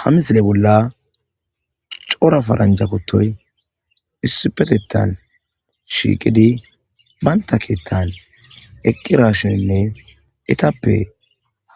hamisile bolla coora paranja kutoy issipetetan shiiqidi banta keettan eqqirashnine etappe